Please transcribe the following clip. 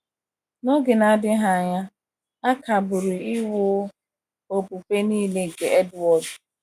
Na oge na adighi anya, a kagburu iwu okpukpe nile nke Edward.